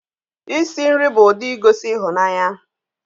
Isi nri bụ ụdị igosi ịhụnanya